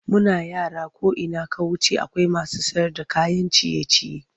Muna yara ko ina ka wuce akwai masu sayarda kayan ciye-ciye.